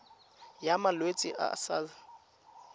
ya malwetse a a sa